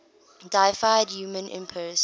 deified roman emperors